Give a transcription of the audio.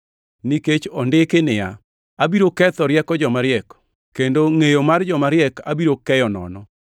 nikech ondiki niya, “Abiro ketho rieko joma riek; kendo ngʼeyo mar joma riek abiro keyo nono.” + 1:19 \+xt Isa 29:14\+xt*